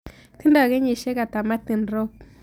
Tindo kenyisiek ata martin rop